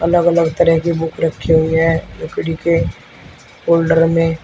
अलग अलग तरह की बुक रखे हुए है लकड़ी के फोल्डर में--